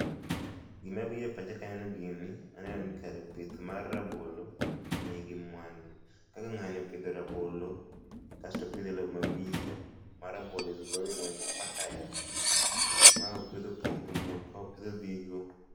Gima biro e pacha keneno gini aneno ni kare pith mar rabolo nigi mwandu. Kaka ng'ani opidho rabolo, kasto opidhe loo ma miyo ma rabolo is growing well ,fertile. Ma opidhe opong to muol, opidho odhigo